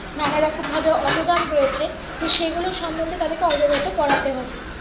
নানারকম ভাবে অবদান রয়েছে তো সেগুলো সম্পর্কে তাদের অবগত করাতে হবে।